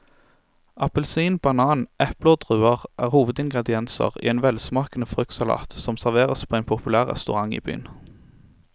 Appelsin, banan, eple og druer er hovedingredienser i en velsmakende fruktsalat som serveres på en populær restaurant i byen.